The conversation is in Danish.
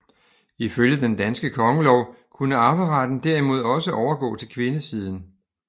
Ifølge den danske kongelov kunne arveretten derimod også overgå til kvindesiden